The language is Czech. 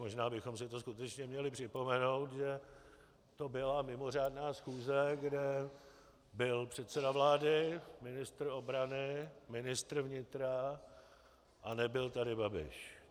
Možná bychom si to skutečně měli připomenout, že to byla mimořádná schůze, kde byl předseda vlády, ministr obrany, ministr vnitra a nebyl tady Babiš.